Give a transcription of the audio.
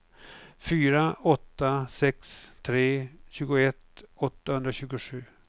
fyra åtta sex tre tjugoett åttahundratjugosju